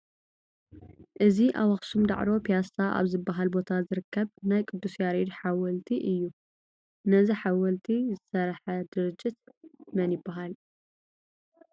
እዚ ኣብ ኣኽሱም ዳዕሮ ፒያሳ ኣብ ዝበሃል ቦታ ዝርከብ ናይ ቅዱስ ያሬድ ሓወልቲ እዩ፡፡ ነዚ ሓወልቲ ዘስርሐ ድርጅት መን ይበሃል?